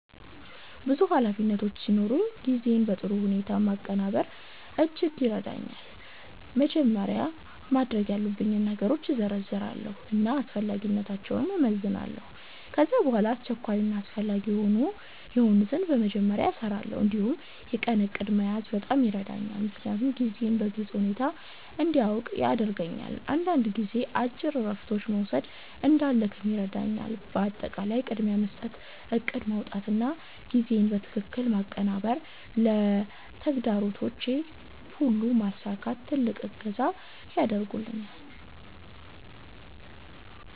ብዙ ኃላፊነቶች ሲኖሩኝ ጊዜን በጥሩ ሁኔታ ማቀናበር እጅግ ይረዳኛል። መጀመሪያ ማድረግ ያለብኝን ነገሮች እዘርዝራለሁ እና አስፈላጊነታቸውን እመዝናለሁ። ከዚያ በኋላ አስቸኳይ እና አስፈላጊ የሆኑትን በመጀመሪያ እሰራለሁ። እንዲሁም የቀን እቅድ መያዝ በጣም ይረዳኛል፣ ምክንያቱም ጊዜዬን በግልጽ ሁኔታ እንዲያውቅ ያደርገኛል። አንዳንድ ጊዜ አጭር እረፍቶች መውሰድ እንዳልደክም ይረዳኛል። በአጠቃላይ ቅድሚያ መስጠት፣ እቅድ ማውጣት እና ጊዜን በትክክል ማቀናበር ለተግባሮቼ ሁሉ መሳካት ትልቅ እገዛ ያደርጉልኛል።